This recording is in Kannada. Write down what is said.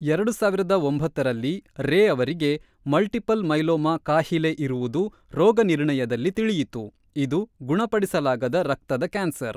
ಎರಡು ಸಾವಿರದ ಒಂಬತ್ತರಲ್ಲಿ, ರೇ ಅವರಿಗೆ ಮಲ್ಟಿಪಲ್ ಮೈಲೋಮಾ ಕಾಹಿಲೆ ಇರುವುದು ರೋಗನಿರ್ಣಯದಲ್ಲಿ ತಿಳಿಯಿತು, ಇದು ಗುಣಪಡಿಸಲಾಗದ ರಕ್ತದ ಕ್ಯಾನ್ಸರ್.